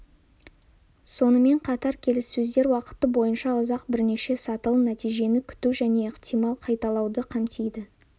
сонымен қатар келіссөздер уақыты боййынша ұзақ бірнеше сатылы нәтижені күту және ықтимал қайталауды қамтиды